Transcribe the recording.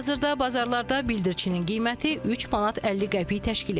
Hazırda bazarlarda bildirçinin qiyməti 3 manat 50 qəpik təşkil edir.